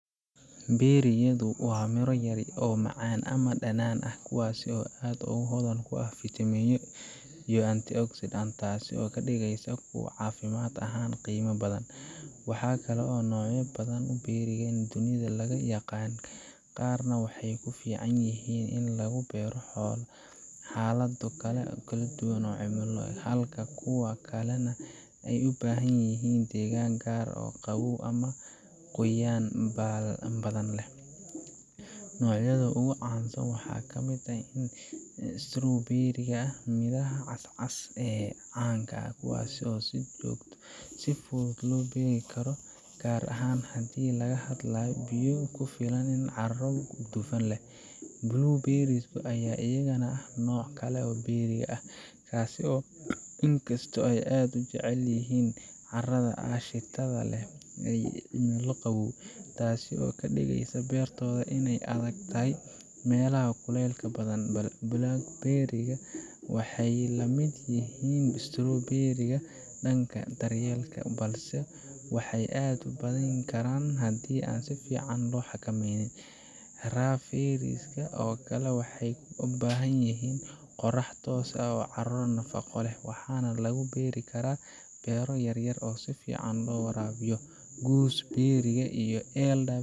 Berry-yadu waa miro yaryar oo macaan ama dhanaan ah kuwaas oo aad u hodan ku ah fitamiinno iyo antioxidants, taasoo ka dhigaysa kuwo caafimaad ahaan qiimo badan. Waxaa jira noocyo badan oo berry ah oo dunida laga yaqaan, qaarna waxay ku fiican yihiin in lagu beero xaalado kala duwan oo cimilo, halka kuwa kalena ay u baahan yihiin deegaan gaar ah oo qabow ama qoyaan badan leh. Noocyada ugu caansan waxaa ka mid ah strawberries oo ah midhaha cas-cas ee caan ah, kuwaas oo si fudud loo beeri karo, gaar ahaan haddii laga hayo biyo ku filan iyo carro dufan leh. Blueberries ayaa iyagana ah nooc kale oo berry ah, inkastoo ay aad u jecel yihiin carrada aashitada leh iyo cimilo qabow, taasoo ka dhigaysa beertooda inay ku adag tahay meelaha kulaylka badan. Blackberries waxay la mid yihiin strawberries dhanka daryeelka, balse waxay aad u badan karaan haddii aan si fiican loo xakameynin. Raspberries oo kale waxay u baahan yihiin qorrax toos ah iyo carro nafaqo leh, waxaana lagu beeri karaa beero yar yar oo si fiican loo waraabiyo. Gooseberries iyo